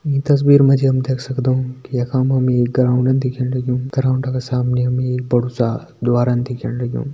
ईं तस्वीर मा जी हम देख सगदों कि यखा मा हमि एक ग्राउंड दिख्येण लग्युं ग्राउंड का सामनि हमि एक बड़ु सा द्वारन दिख्येण लग्युं।